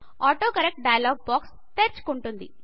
autocorrect dialog box తెరుచుకుంటుంది